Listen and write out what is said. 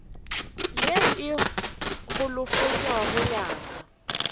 ye e holofetšago ya ka